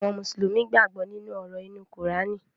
Àwọn Mùsùlùmí gbàgbó nínú òrò inu Kùránì